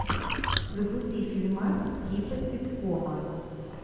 загрузи фильмас типа ситкома